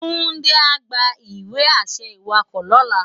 Tunde á gbá iwe-ašẹ iwákò lòlá